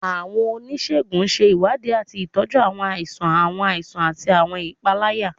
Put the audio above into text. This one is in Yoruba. Awọn onisegun ṣe iwadii ati tọju awọn aisan, awọn aisan, ati awọn ipalara.